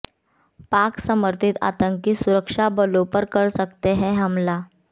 पाक समर्थित आतंकी सुरक्षाबलों पर कर सकते हैं हमला